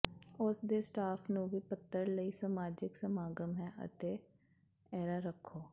ਉਸ ਦੇ ਸਟਾਫ ਨੂੰ ਵੀ ਪੱਤਰ ਲਈ ਸਮਾਜਿਕ ਸਮਾਗਮ ਹੈ ਅਤੇ ਿੇਰਿਾ ਰੱਖੋ